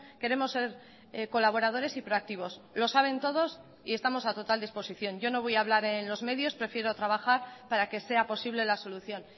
queremos ser colaboradores y proactivos lo saben todos y estamos a total disposición yo no voy a hablar en los medios prefiero trabajar para que sea posible la solución